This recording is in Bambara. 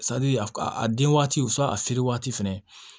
a a den waati a feere waati fɛnɛ